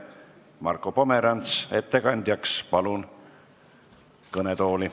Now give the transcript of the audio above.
Palun Marko Pomerantsi ettekandeks kõnetooli.